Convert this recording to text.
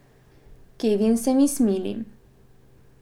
Kevin se mi smili.